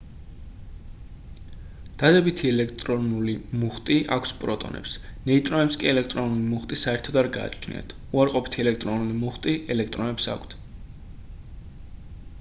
დადებითი ელექტრული მუხტი აქვთ პროტონებს ნეიტრონებს კი ელექტრული მუხტი საერთოდ არ გააჩნიათ უარყოფითი ელექტრული მუხტი ელექტრონებს აქვთ